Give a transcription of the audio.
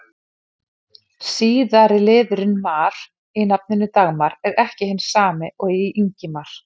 Síðari liðurinn-mar í nafninu Dagmar er ekki hinn sami og í Ingimar.